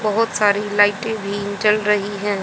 बहोत सारी लाइटे भी जल रही हैं।